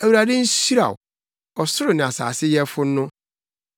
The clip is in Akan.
Awurade nhyira wo, ɔsoro ne asase Yɛfo no.